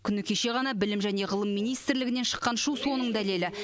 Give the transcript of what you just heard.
күні кеше білім және ғылым министрлігінен шыққан шу соның дәлелі